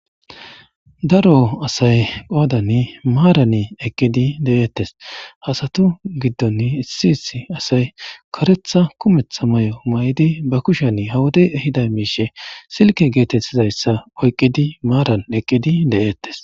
daro asay qoodan maaran eqqedi de7eettes hasatu giddon issi issi asay koretha kumetha may7o may7idi ba kushan hawode ehida miishe silke geetettidayssa oyqqidi maaran eqqedi de7eettes